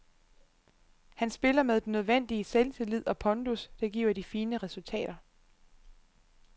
Han spiller med den nødvendige selvtillid og pondus, der giver de fine resultater.